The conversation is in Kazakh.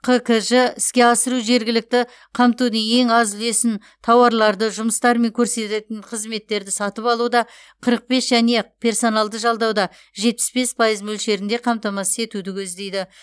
қкж іске асыру жергілікті қамтудың ең аз үлесін тауарларды жұмыстар мен көрсетілетін қызметтерді сатып алуда қырық бес және персоналды жалдауда жетпіс бес пайыз мөлшерінде қамтамасыз етуді көздейді